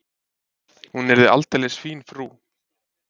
Hún yrði aldeilis fín frú.